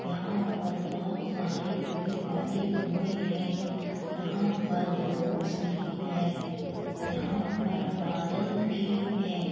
यहाँ पर बहुत सारे पेड़ लगे हुए हैं यहाँ पर लोग भी हैं। यहाँ पर बादल भी हैं।